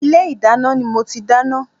Ilé ìdáná ni mo ti dáná